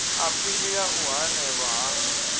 aphili ya u hanelwa ha